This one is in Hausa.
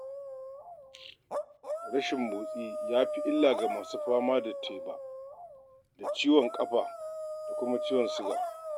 Rashin motsi ya fi illa ga masu fama da teɓa da ciwon ƙafa da kuma ciwon-siga